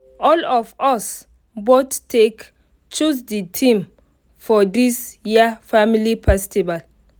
all of us vote take choose the theme for this year family festival